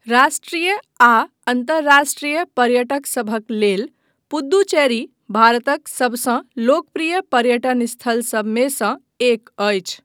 राष्ट्रीय आ अन्तर्राष्ट्रीय पर्यटक सभक लेल पुद्दुचेरी भारतक सबसँ लोकप्रिय पर्यटन स्थल सभमेसँ एक अछि।